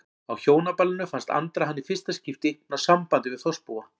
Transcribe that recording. Á Hjónaballinu fannst Andra hann í fyrsta skipti ná sambandi við þorpsbúa.